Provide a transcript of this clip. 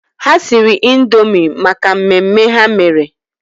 Ha siri Indoomi maka mmemme ha mere.